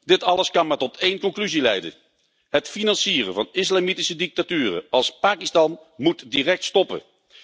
Dit alles kan maar tot één conclusie leiden het financieren van islamitische dictaturen als Pakistan moet direct stoppen.